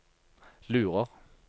lurer